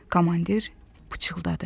Komandir pıçıldadı.